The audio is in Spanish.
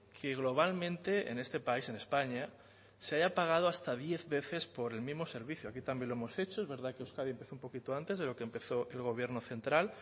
que globalmente en este país en españa se haya pagado hasta diez veces por el mismo servicio aquí también lo hemos hecho es verdad que euskadi empezó un poquito antes de lo que empezó el gobierno central